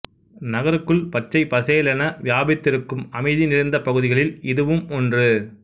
நகருக்குள் பச்சை பசேலென வியாபித்திருக்கும் அமைதி நிறைந்த பகுதிகளில் இதுவும் ஒன்று